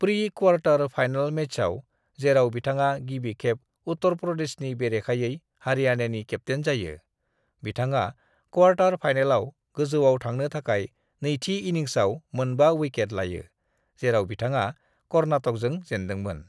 "Pre-quarter final मैचआव, जेराव बिथाङा गिबि खेब उत्तर प्रदेशनि बेरेखायै हरियाणानि केप्टेइन जायो; बिथाङा क्वार्टर फाइनेलआव गोजौआव थांनो थाखाय नैथि इनिंसआव मोनबा विकेट लायो, जेराव बिथाङा कर्नाटकजों जेनदोंमोन।"